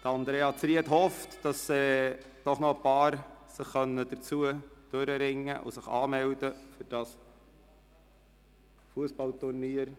Andrea Zryd hofft, dass sich doch noch ein paar Leute dazu durchringen können, sich anzumelden.